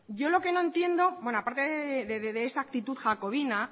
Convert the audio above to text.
yo lo que no entiendo a parte de esa actitud jacobina